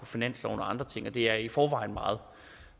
finansloven og andre ting og det er i forvejen meget